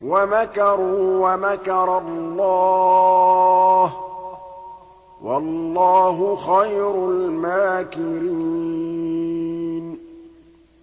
وَمَكَرُوا وَمَكَرَ اللَّهُ ۖ وَاللَّهُ خَيْرُ الْمَاكِرِينَ